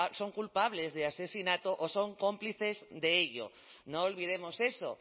son culpables de asesinato o son cómplices de ello no olvidemos eso